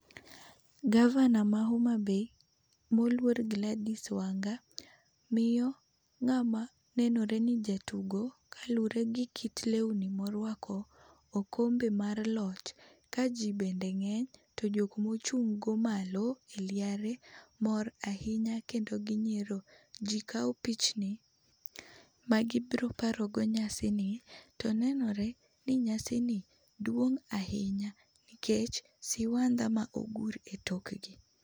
Gavana ma homabay mo oluor Glady's Wanga, miyo ng'ama nenore ni jatugo kaluore gi kit lewni ma orwako okombe mar loch ka ji bende ng'eny to jo ma ochung' go malo e liare mor ahinya kendo gi nyiero. Ji kawo pichni ma gi biro paro go nyasi ni. To nenore ni nyasani duong' ahinya nikech siwandha ma ogur e tok gi.